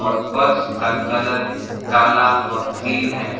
और फ़र्श का कलर कला और ग्रीन है।